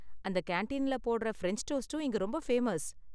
அந்த கேண்டீனில் போடுற பிரெஞ்ச் டோஸ்ட்டும் இங்க ரொம்ப ஃபேமஸ்.